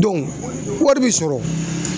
Dɔnku wari bi sɔrɔ